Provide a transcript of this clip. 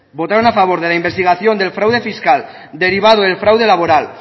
votaron a favor de la investigación del fraude fiscal derivado del fraude laboral